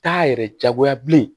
T'a yɛrɛ jagoya bilen